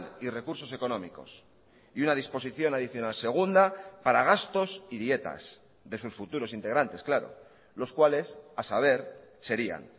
y recursos económicos y una disposición adicional segunda para gastos y dietas de sus futuros integrantes claro los cuales a saber serían